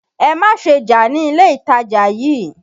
Ẹ má ṣe jà ní ilé ìtajà yìí!